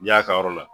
Y'a ka yɔrɔ la